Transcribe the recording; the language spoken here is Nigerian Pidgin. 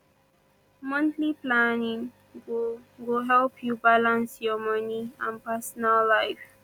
monthly planning go go help yu balance yur moni and personal life